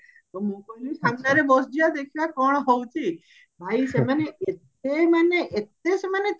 ତ ମୁଁ କହିଲି ସାମ୍ନାରେ ବସିଯିବା ଦେଖିବା କଣ ହଉଚି ଭାଇ ସେମାନେ ଏତେ ମାନେ ଏତେ ସେମାନେ